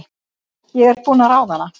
Ég er búin að ráða hana!